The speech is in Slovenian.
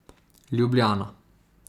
Ljubljana.